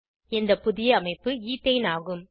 இந்த புதிய அமைப்பு ஈத்தைன் ஆகும்